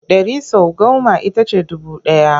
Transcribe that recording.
Ɗari sau goma ita ce dubu ɗaya.